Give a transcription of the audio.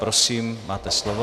Prosím, máte slovo.